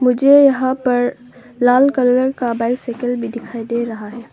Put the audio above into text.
मुझे यहां पर लाल कलर का बाइसाइकिल भी दिखाई दे रहा है।